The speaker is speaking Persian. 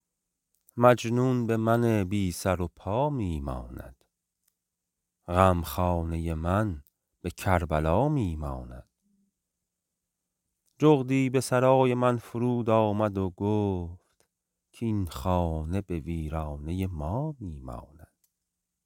مجنون به من بی سر و پا می ماند غمخانه من به کربلا می ماند جغدی به سرای من فرود آمد و گفت کاین خانه به ویرانه ما می ماند